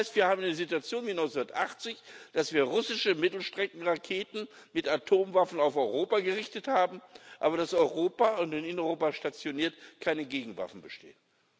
Das heißt, wir haben eine Situation wie 1980, dass wir russische Mittelstreckenraketen mit Atomwaffen auf Europa gerichtet haben, aber dass aufseiten Europas und in Europa stationiert keine Gegenwaffen bestehen.